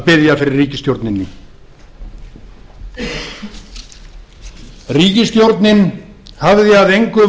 biðja fyrir ríkisstjórninni góðir íslendingar ríkisstjórn geirs h haarde og ingibjargar sólrúnar gísladóttur hafði að engu